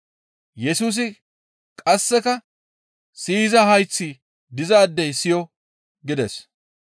Yesusi qasseka, «Siyiza hayththi dizaadey siyo!» gides.